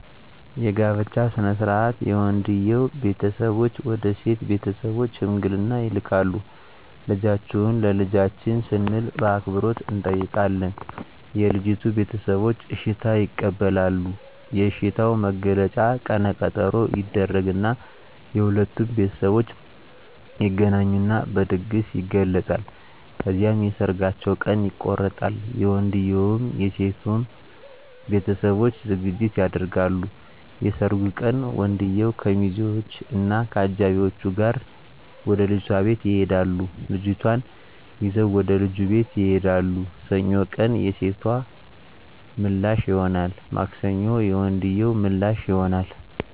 የጋብቻ ሥነ ሥርዓት የወንድየዉ ቤተሰቦች ወደ ሴት ቤተሰቦች ሽምግልና ይልካሉ ልጃችሁን ለልጃችን ስንል በአክብሮት እንጠይቃለን የልጂቱ ቤተሰቦች እሽታ ይቀበላሉ የእሽታዉ መግለጫ ቀነ ቀጠሮ ይደረግ እና የሁለቱም ቤተሠቦች ይገናኙና በድግስ ይገለፃል። ከዚያም የሠርጋቸዉ ቀን ይቆረጣል የወንድየዉም የሴቶም ቤተሠቦች ዝግጅት ያደርጋሉ። የሠርጉ ቀን ወንድየዉ ከሚዚወች እና ከአጃቢወቹ ጋር ወደ ልጅቷ ቤት ይሄዳሉ ልጅቷን ይዘዉ ወደ ልጁ ቤት ይሄዳሉ። ሰኞ ቀን የሴቶ ምላሽ ይሆናል ማክሰኞ የወንድየዉ ምላሽ ይሆናል።